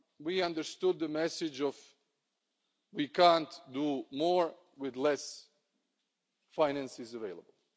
We understood the message we can't do more with less finance available'.